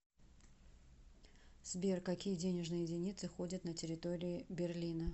сбер какие денежные единицы ходят на территории берлина